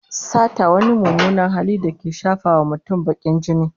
Sata wani mummunan hali da yake shafawa mutum bakin jini